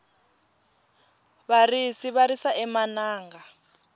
varisi va risa emananga